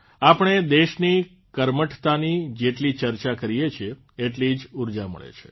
આપણે દેશની કર્મઠતાની જેટલી ચર્ચા કરીએ છીએ એટલી જ ઉર્જા મળે છે